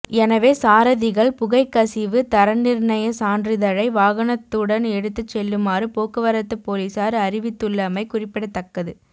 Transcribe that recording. எனவே சாரதிகள் புகைக்கசிவு தரநிர்ணய சான்றிதழை வாகனத்துடன் எடுத்துச் செல்லுமாறு போக்குவரத்து பொலிஸார் அறிவித்துள்ளமை குறிப்பிடத்தக்கது